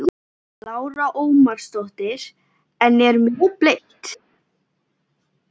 Lára Ómarsdóttir: En er mjög blint?